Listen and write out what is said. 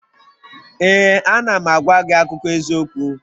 Ee, a na m agwa gị akụkọ eziokwu